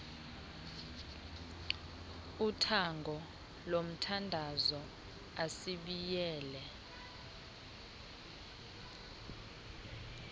uthango lomthandazo asibiyele